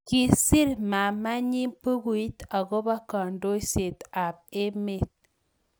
kiser maamanyi bukuit akobo kandoiset ab emet